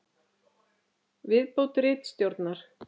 Viðbót ritstjórnar: